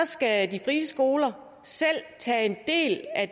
skal de frie skoler selv tage en del af